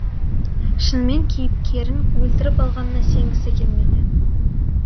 шынымен кейіпкерін өлтіріп алғанына сенгісі келмейді